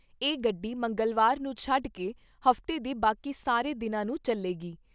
ਇਹ ਗੱਡੀ ਮੰਗਲਵਾਰ ਨੂੰ ਛੱਡ ਕੇ ਹਫਤੇ ਦੇ ਬਾਕੀ ਸਾਰੇ ਦਿਨਾਂ ਨੂੰ ਚੱਲੇਗੀ।